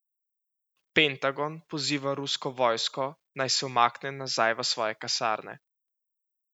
Pentagon poziva rusko vojsko naj se umakne nazaj v svoje kasarne.